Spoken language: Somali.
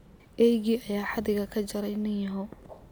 Eygii ayaa xadhiga ka jaray nin yahow.